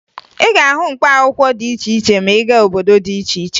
Ị ga-ahụ mkpaakwụkwọ dị iche iche ma ị gaa obodo dị iche iche